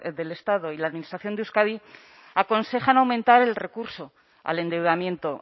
del estado y la administración de euskadi aconsejan aumentar el recurso al endeudamiento